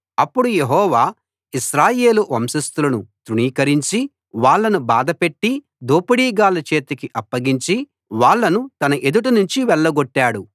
అప్పుడు యెహోవా ఇశ్రాయేలు వంశస్థులను తృణీకరించి వాళ్ళను బాధపెట్టి దోపిడీగాళ్ళ చేతికి అప్పగించి వాళ్ళను తన ఎదుట నుంచి వెళ్లగొట్టాడు